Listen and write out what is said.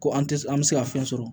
Ko an tɛ an bɛ se ka fɛn sɔrɔ